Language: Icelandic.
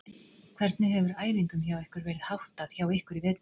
Hvernig hefur æfingum hjá ykkur verið háttað hjá ykkur í vetur?